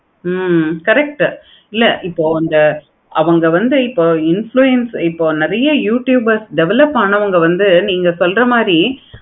அஹ் correct இப்போ இந்த அவங்க வந்து இப்போ influence நெறைய youtubers develop ஆனவங்க வந்து நீங்க சொல்ற மாதிரி